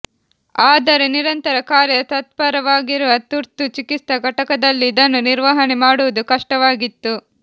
ಆದರೆ ನಿರಂತರ ಕಾರ್ಯ ತತ್ಪರವಾಗಿರುವ ತುರ್ತು ಚಿಕಿತ್ಸಾ ಘಟಕದಲ್ಲಿ ಇದನ್ನು ನಿರ್ವಹಣೆ ಮಾಡುವುದು ಕಷ್ಟವಾಗಿತ್ತು